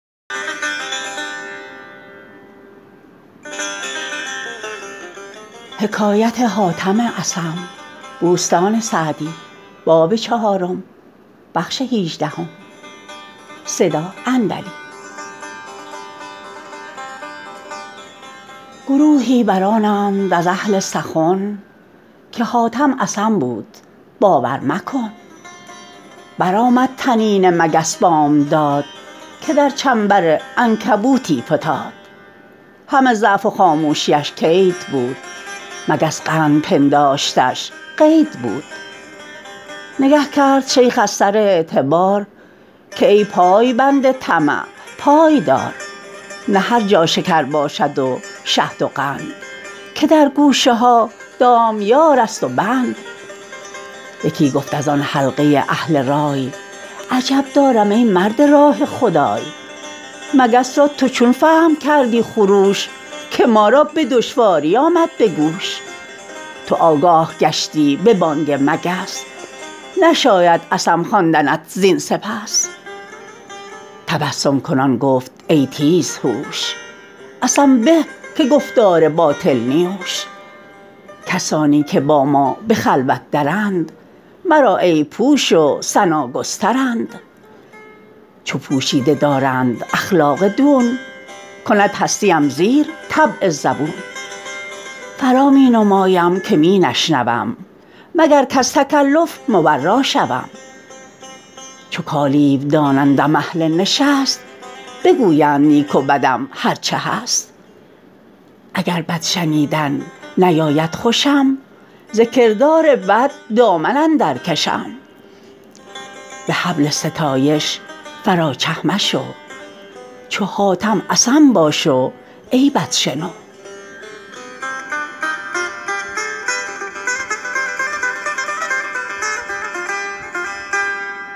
گروهی برآنند از اهل سخن که حاتم اصم بود باور مکن برآمد طنین مگس بامداد که در چنبر عنکبوتی فتاد همه ضعف و خاموشیش کید بود مگس قند پنداشتش قید بود نگه کرد شیخ از سر اعتبار که ای پایبند طمع پای دار نه هر جا شکر باشد و شهد و قند که در گوشه ها دامیار است و بند یکی گفت از آن حلقه اهل رای عجب دارم ای مرد راه خدای مگس را تو چون فهم کردی خروش که ما را به دشواری آمد به گوش تو آگاه گشتی به بانگ مگس نشاید اصم خواندنت زین سپس تبسم کنان گفت ای تیز هوش اصم به که گفتار باطل نیوش کسانی که با ما به خلوت درند مرا عیب پوش و ثنا گسترند چو پوشیده دارند اخلاق دون کند هستیم زیر طبع زبون فرا می نمایم که می نشنوم مگر کز تکلف مبرا شوم چو کالیو دانندم اهل نشست بگویند نیک و بدم هر چه هست اگر بد شنیدن نیاید خوشم ز کردار بد دامن اندر کشم به حبل ستایش فرا چه مشو چو حاتم اصم باش و عیبت شنو